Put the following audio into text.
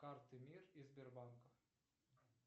карты мир и сбербанка